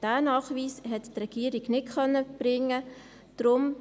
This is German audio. Diesen Nachweis hat die Regierung nicht erbringen können.